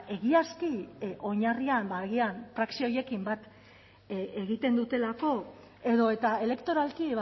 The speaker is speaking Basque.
egiazki oinarrian agian praxi horiekin bat egiten dutelako edo eta elektoralki